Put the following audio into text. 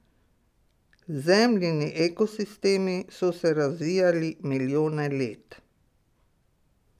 Zemljini ekosistemi so se razvijali milijone let.